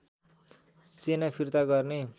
सेना फिर्ता गर्ने